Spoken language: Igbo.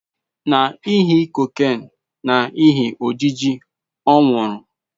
Na ihi cocaine na ihi ojiji ọ nwụrụ